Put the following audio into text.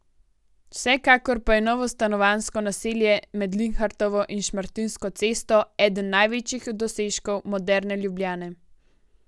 Vsekakor pa je novo stanovanjsko naselje med Linhartovo in Šmartinsko cesto eden največjih dosežkov moderne Ljubljane.